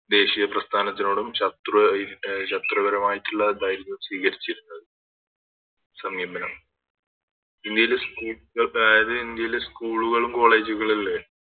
ദേശീയപ്രസ്ഥാനത്തോടും ശത്രു അഹ് ശത്രുപരമായിട്ടുള്ള ഇതായിരുന്നു സ്വീകരിച്ചിരുന്നത് സമീപനം ഇന്ത്യയില് സ് അതായത് ഇന്ത്യയില് School കളും College കളും ഇല്ലേ